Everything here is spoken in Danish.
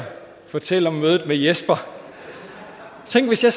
fortælle om mødet med jesper tænk hvis jeg